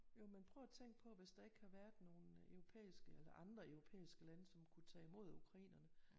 Jo men prøv at tænk på hvis der ikke havde været nogen europæiske eller andre europæiske lande som kunne tage imod ukrainerne